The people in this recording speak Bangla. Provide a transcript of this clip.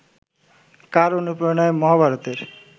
কার অনুপ্রেরণায় মহাভারতের